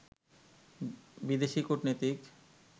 বিদেশি কূটনীতিক